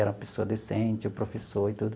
Era uma pessoa decente, o professor e tudo.